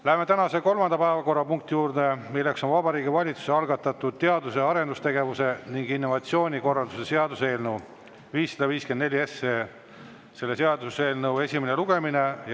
Läheme tänase kolmanda päevakorrapunkti juurde, milleks on Vabariigi Valitsuse algatatud teadus‑ ja arendustegevuse ning innovatsiooni korralduse seaduse eelnõu 554 esimene lugemine.